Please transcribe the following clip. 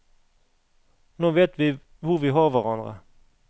Nå vet vi hvor vi har hverandre.